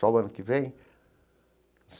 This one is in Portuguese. Só o ano que vem?